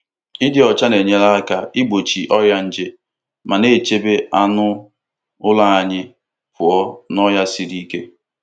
Ịdị ọcha na-enyere aka igbochi ọrịa nje ma na-echebe anụ ụlọ anyị pụọ n'ọrịa siri ike.